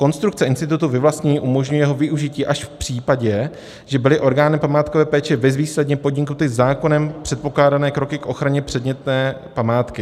Konstrukce institutu vyvlastnění umožňuje jeho využití až v případě, že byly orgány památkové péče bezvýsledně podniknuty zákonem předpokládané kroky k ochraně předmětné památky.